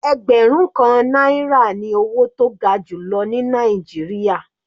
Ẹgbẹrun kan náírà ní owó tó ga jùlọ ní Nàìjíríà.